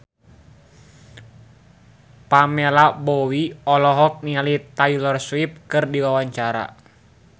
Pamela Bowie olohok ningali Taylor Swift keur diwawancara